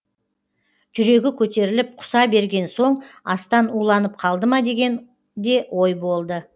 жүрегі көтеріліп құса берген соң астан уланып қалды ма деген де ой болды